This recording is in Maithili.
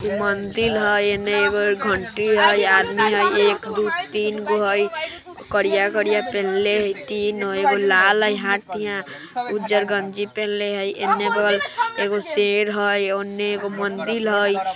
इ मंदिर हई एने एगो घंटी हई आदमी हई एक दो तीन गो हइ करिया करिया पेन्हले हई तीन हई एगो लाल हई उजर गंजी पेन्हले हई एगो शेर हई ओने एगो मंदिर हई।